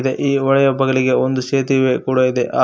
ಈ ಹೊಳೆಯ ಬಗಲಿಗೆ ಒಂದು ಸೇತುವೆ ಕೂಡ ಇದೆ ಆ--